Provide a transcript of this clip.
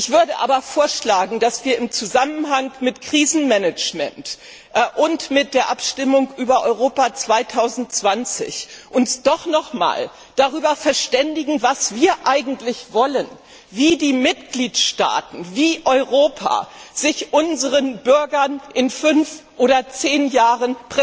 Ich würde aber vorschlagen, dass wir uns im Zusammenhang mit Krisenmanagement und mit der Abstimmung über Europa 2020 doch nochmals darüber verständigen, was wir eigentlich wollen, wie die Mitgliedstaaten, wie Europa sich unseren Bürgern in fünf oder zehn Jahren